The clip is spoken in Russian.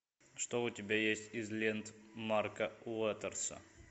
что у тебя есть из лент марка уотерса